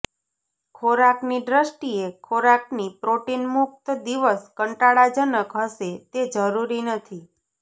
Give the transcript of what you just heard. ખોરાકની દ્રષ્ટિએ ખોરાકની પ્રોટીન મુક્ત દિવસ કંટાળાજનક હશે તે જરૂરી નથી